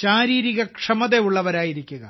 ശാരീരിക്ഷമതയുള്ളവരായിരിക്കുക